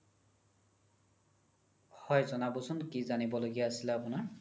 হয় জনাবচোন কি জানিব লগিয়া আছিলে আপোনাৰ